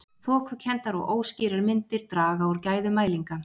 Þokukenndar og óskýrar myndir draga úr gæðum mælinga.